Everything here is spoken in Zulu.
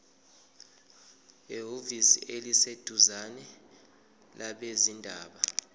ehhovisi eliseduzane labezindaba